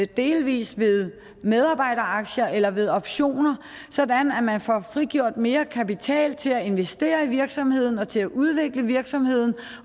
delvis ved medarbejderaktier eller ved optioner sådan at man får frigjort mere kapital til at investere i virksomheden til at udvikle virksomheden